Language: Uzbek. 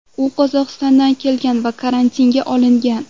U Qozog‘istondan kelgan va karantinga olingan.